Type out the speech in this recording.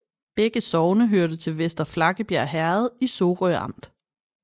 Begge sogne hørte til Vester Flakkebjerg Herred i Sorø Amt